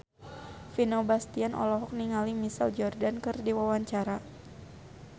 Vino Bastian olohok ningali Michael Jordan keur diwawancara